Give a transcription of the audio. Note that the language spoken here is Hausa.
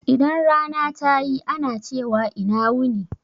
Idan rana ta yi ana cewa ina wuni.